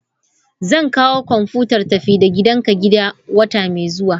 Zan kawo kwamfutar tafi-da-gidanka gida wata mai zuwa.